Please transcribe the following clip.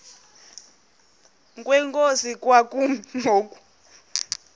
kwenkosi kwakumi ngoku